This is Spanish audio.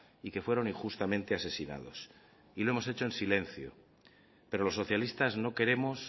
y que fueron injustamente asesinados y lo hemos hecho en silencio pero los socialistas no queremos